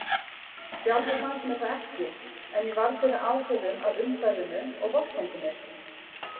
Sjálfri fannst mér það ekki, en ég varð fyrir áhrifum af umhverfinu og vorkenndi mér.